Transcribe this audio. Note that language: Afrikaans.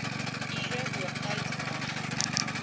ure oortyd mag